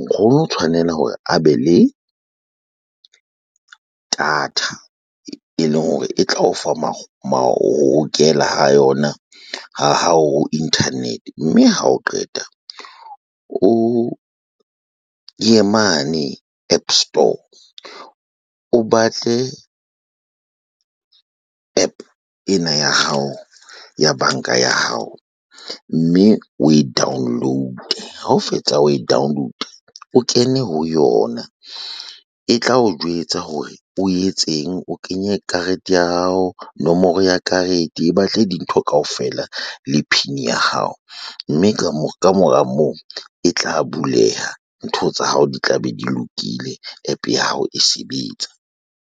Nkgono tshwanela hore a be le data, e leng hore e tla o fa ha yona ha ho internet mme ha o qeta o ye mane App Store o batle APP ena ya hao ya banka ya hao mme o e download ha o fetsa o e download o kene ho yona e tla o jwetsa hore o etseng o kenye karete ya hao nomoro ya karete e batle dintho kaofela le P_I_N ya hao mme ka mora moo e tla buleha. Ntho tsa hao di tla be di lokile. APP ya hao e sebetsa.